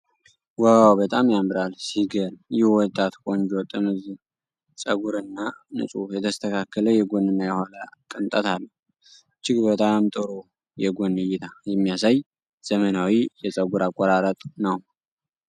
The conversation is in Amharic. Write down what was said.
ዋው፣ በጣም ያምራል! ሲገርም! ይህ ወጣት ቆንጆ ጥምዝ ፀጉርና ንጹህ የተስተካከለ የጎንና የኋላ ቅንጠት አለው። እጅግ በጣም ጥሩ የጎን እይታ፣ የሚያሳይ፣ ዘመናዊ የፀጉር አቆራረጥ ነው።